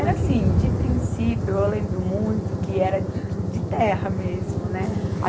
Era assim, de princípio, eu lembro muito que era de, de terra mesmo, né?